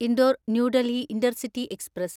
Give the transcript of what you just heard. Indore New Delhi intercity express